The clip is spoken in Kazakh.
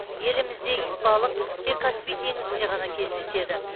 елімізде итбалық тек каспий теңізінде ғана кездеседі